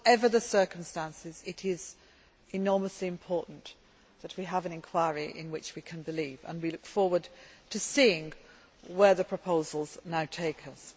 Whatever the circumstances, it is enormously important that we have an inquiry in which we can believe and we look forward to seeing where the proposals now take us.